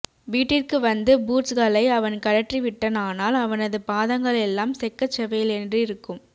வீட்டிற்கு வந்து பூட்ஸ்களை அவன் கழற்றி விட்டானானால் அவனது பாதங்களெல்லாம் செக்கச் செவேலென்றிருக்கும்